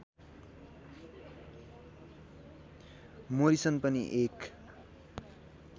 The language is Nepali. मोरिसन पनि एक